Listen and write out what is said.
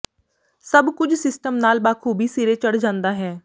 ਸਭ ਕੁੱਝ ਸਿਸਟਮ ਨਾਲ ਬਾਖ਼ੂਬੀ ਸਿਰੇ ਚੜ੍ਹ ਜਾਂਦਾ ਹੈ